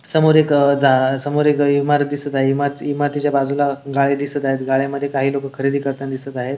समोर एक अह जा समोर एक इमारत दिसत आहे इमारतीच्या बाजूला गाळ्या दिसत आहे गाळ्यामधी काही लोक जागा खरेदी करताना दिसत आहे.